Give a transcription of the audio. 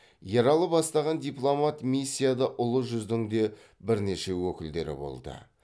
ералы бастаған дипломат миссияда ұлы жүздің де бірнеше өкілдері болды